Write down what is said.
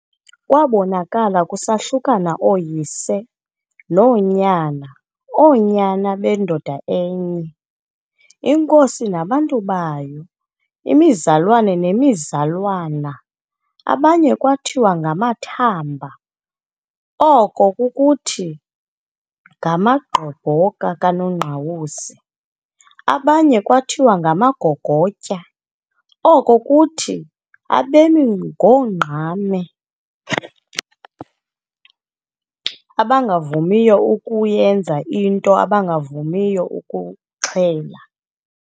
Kwaabonakala kusahlukana ooyise noonyana, oonyana bendoda enye, inkosi nabantu bayo, imizalwana nemizalwana. Abanye kwathiwa ngama"Thamba", oko kukuthi ngamagqobhoka kaNongqawuse, abanye kwathiwa ngama"Gogotya", oko kukuthi abemi ngongqame, abangavumiyo ukuyenza into, abangavumiyo ukuxhela.